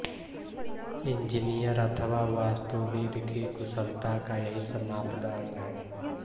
engineer अथवा वास्तुविद् की कुशलता का यही मापदंड है